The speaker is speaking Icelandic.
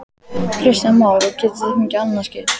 Kristján Már: Og getið þið fengið annað skip?